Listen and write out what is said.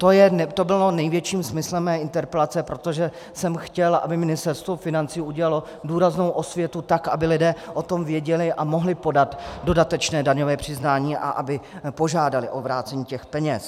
To bylo největším smyslem mé interpelace, protože jsem chtěl, aby Ministerstvo financí udělalo důraznou osvětu, tak aby lidé o tom věděli a mohli podat dodatečné daňové přiznání a aby požádali o vrácení těch peněz.